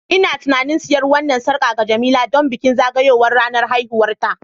Ina tunanin siyan wannan sarƙa ga Jemila don bikin zagayowar ranar haihuwarta